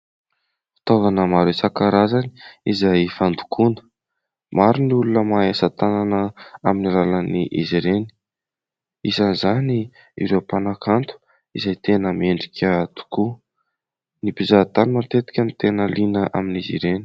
Fitaovana maro isan-karazany izay fandokoana, maro ny olona mahay asa-tanana amin'ny alalan'izy ireny, isan'izany ireo mpanakanto izay tena mendrika tokoa. Ny mpizaha-tany matetika no tena liana amin'izy ireny.